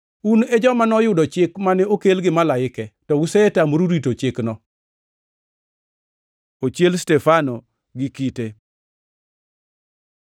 Un e joma noyudo chik mane okel gi malaike to usetamoru rito chikno.” Ochiel Stefano gi kite